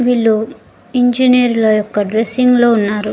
వీళ్ళు ఇంజనీర్ల యొక్క డ్రెస్సింగ్ లో ఉన్నారు.